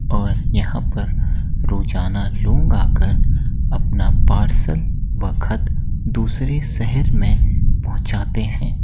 और यहाँ पर रोजाना लोग आकर अपना पार्सल व खत दूसरे शहर में पहुँचाते हैं।